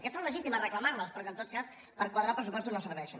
que és legítim reclamar les però que en tot cas per quadrar pressupostos no serveixen